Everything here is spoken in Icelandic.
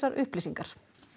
upplýsingar